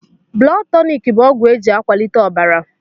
Blọd tọnik bụ ọgwụ eji a kwalite ọbara.